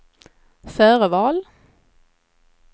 förval